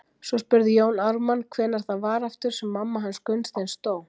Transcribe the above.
Svo spurði Jón Ármann:- Hvenær var það aftur sem mamma hans Gunnsteins dó?